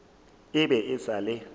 e be e sa le